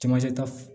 Camancɛ ta